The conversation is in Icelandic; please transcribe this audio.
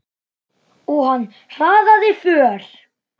Og hann hraðaði för.